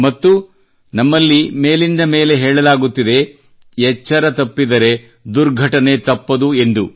ಮತ್ತು ನಮ್ಮಲ್ಲಿ ಮೇಲಿಂದ ಮೇಲೆ ಹೇಳಲಾಗುತ್ತದೆ ಎಚ್ಚರ ತಪ್ಪಿದರೆ ದುರ್ಘಟನೆ ತಪ್ಪದು ಎಂದು